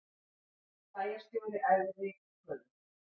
Bæjarstjóri æfði reykköfun